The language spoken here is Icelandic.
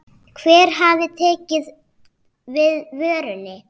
Hver hafi tekið við vörunni?